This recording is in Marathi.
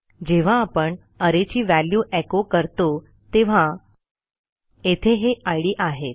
जेव्हा आपण arrayची व्हॅल्यू एको करतो तेव्हा येथे हे इद आहेत